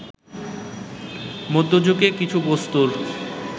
মধ্যে যুগে কিছু বস্তুর